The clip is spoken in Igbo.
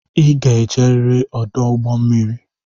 I ga-eje riri ọdụ ụgbọ mmiri!